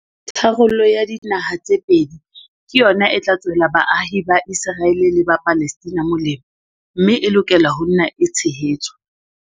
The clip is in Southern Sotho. Tharollo ya dinaha tse pedi ke yona e tla tswela baahi ba Iseraele le ba Palestina molemo mme e lokela ho nna e tshehetswa.